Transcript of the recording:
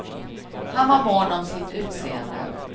Han var mån om sitt utseende.